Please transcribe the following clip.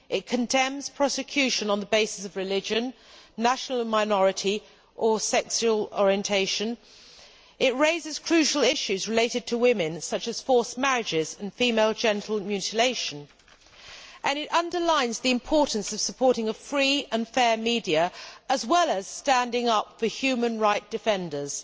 It condemns prosecution on the basis of religion, nationality or membership of a minority, or sexual orientation, it raises crucial issues related to women, such as forced marriages and female genital mutilation, and it underlines the importance of supporting a free and fair media as well as standing up for human rights defenders.